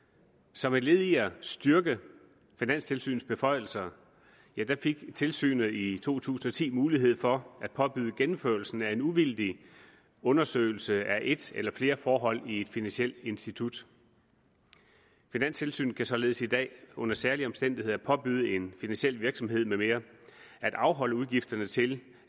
som et led i at styrke finanstilsynets beføjelser fik tilsynet i to tusind og ti mulighed for at påbyde gennemførelsen af en uvildig undersøgelse af et eller flere forhold i et finansielt institut finanstilsynet kan således i dag under særlige omstændigheder påbyde en finansiel virksomhed med mere at afholde udgifterne til